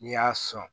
N'i y'a sɔn